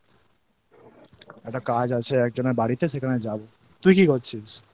একটা কাজ আছে একজনের বাড়িতে সেখানে যাব। তুই কি করছিস?